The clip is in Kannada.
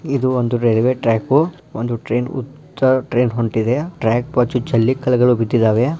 ಇದೊಂದು ರೈಲ್ವೆ ಟ್ರ್ಯಾಕ್ ಒಂದು ಟ್ರೈನ್ ಉದ್ದ ಟ್ರೈನ್ ಹೊಂಟಿದೆ. ಟ್ರ್ಯಾಕ್ ಬಾಜು ಜಲ್ಲಿಕಲ್ಲು ಬಿದ್ದಿದ್ದಾವೆ.